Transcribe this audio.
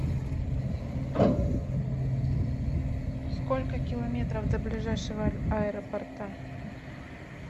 сколько километров до ближайшего аэропорта